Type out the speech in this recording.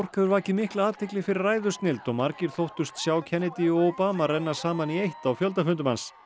hefur vakið mikla athygli fyrir ræðusnilld og margir þóttust sjá Kennedy og Obama renna saman í eitt á fjöldafundum hans